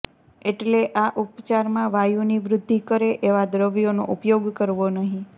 એટલે આ ઉપચારમાં વાયુની વૃદ્ધિ કરે એવા દ્રવ્યોનો ઉપયોગ કરવો નહીં